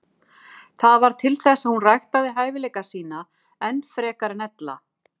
Það varð til þess að hún ræktaði hæfileika sína enn frekar en ella.